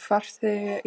Farþegar